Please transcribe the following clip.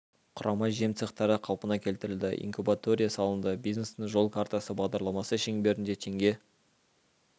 құрама жем цехтары қалпына келтірілді инкубатория салынды бизнестің жол картасы бағдарламасы шеңберінде теңге